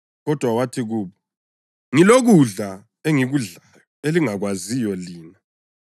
Kodwa wathi kubo, “Ngilokudla engikudlayo elingakwaziyo lina.”